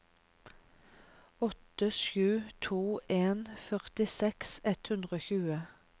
åtte sju to en førtiseks ett hundre og tjue